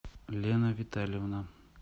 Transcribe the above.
лена витальевна